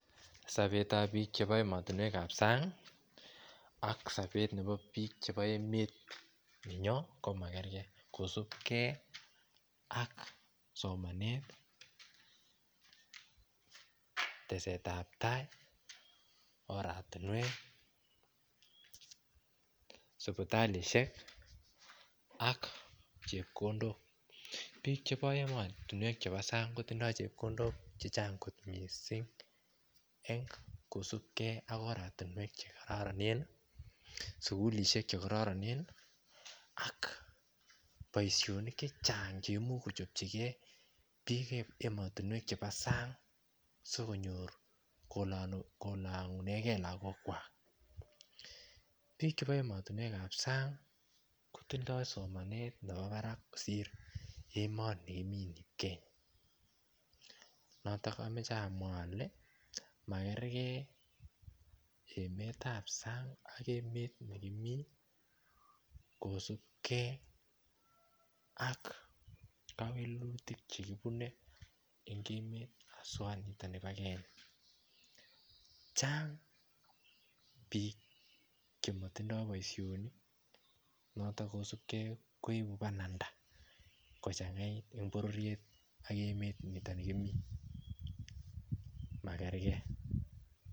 Sobetab bik chebo emotinwek kab sang aK sobet nebo biik chebo emet nenyon komakergei kosubgei ak somanet tesetab tai oratinwek sibitalisiek ak chepkondok biik chebo emotinwek chebo sang kotindoi chebkondok chechang kot mising en kosubgei ak oratinwek chekororonen sukulisiek chekororonen ak boisionik chechang cheimuch kojengjigei biik chebo emotinwek chebo sang sigonyor kolongunengei lokogwak biik chebo emotinwek kab sang kotindoi somanet nebo barak kosir emonikimiten noton omoche amwa ole makergei emetab sang ak emet nikimi kosubgei ak kewelutik chekibune en kemet aswa niton nibo Kenya chang biik chemotindoi boisionik noton kosubgei koibu bananda kochangait en bororit niton kimi makergei